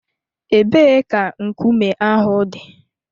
Ebee ka nkume ahụ dị?